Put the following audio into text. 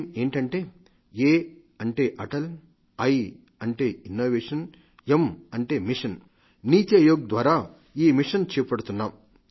ఎం ఏమిటంటే Atal innovation mission NITI Aayog ద్వారా ఈ మిషన్ చేపడుతున్నాం